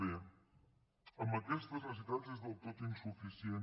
bé amb aquestes necessitats és del tot insuficient